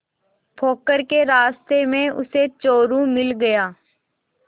पोखर के रास्ते में उसे चोरु मिल गया